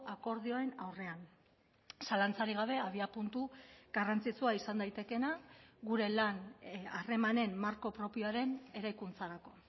akordioen aurrean zalantzarik gabe abiapuntu garrantzitsua izan daitekeena gure lan harremanen marko propioaren eraikuntzarako